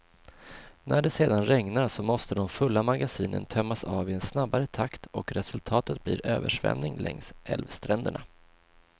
När det sedan regnar, så måste de fulla magasinen tömmas av i en snabbare takt och resultatet blir översvämning längs älvstränderna.